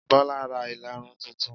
Bọlá ra ìlarun tutun.